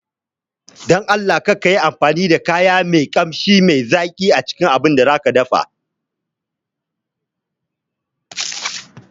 Don Allah karki yi amfani da kayan Ƙamshi mai zaki acikin abincin da zaƙi dafa